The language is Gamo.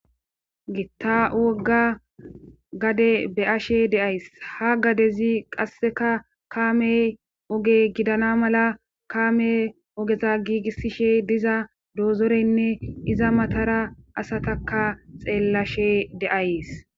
gitta wogga gade be7ashe de7ays ha gadezi qasseka kaamey oge gidana mala kaame ogeza giigissishe diza doozoreynne iza matara asataka xeellashe de7ays